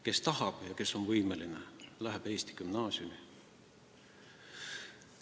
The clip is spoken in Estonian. Kes tahab ja kes on võimeline, läheb eesti gümnaasiumi.